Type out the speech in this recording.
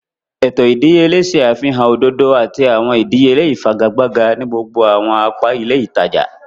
Eto ìdíyelé ṣe àfihàn òdodo àti awọn ìdíyelé ifigagbaga ni gbogbo awọn apa ilé ìtàjà.